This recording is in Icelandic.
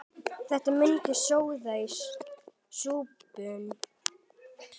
Þetta myndar soðið í súpuna.